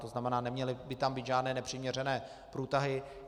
To znamená, neměly by tam být žádné nepřiměřené průtahy.